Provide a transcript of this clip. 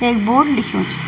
एक बोर्ड लिख्युं च।